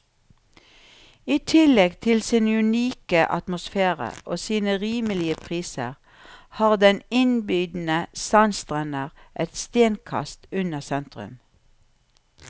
I tillegg til sin unike atmosfære og sine rimelige priser, har den innbydende sandstrender et stenkast unna sentrum.